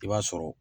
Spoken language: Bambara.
I b'a sɔrɔ